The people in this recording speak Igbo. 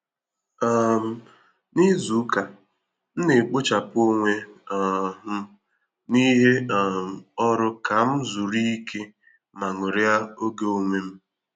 um Na izu ụka, m na-ekpochapụ onwe um m n’ihe um ọrụ ka m zuru ike ma ṅụrịa ògè onwe m